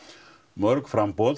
mörg framboð